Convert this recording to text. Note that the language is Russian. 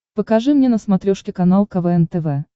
покажи мне на смотрешке канал квн тв